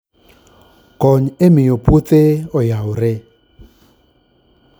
Kony e miyo puothe oyawre